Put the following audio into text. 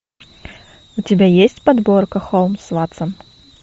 у тебя есть подборка холмс ватсон